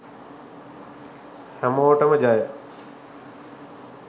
හැමෝටම ජය.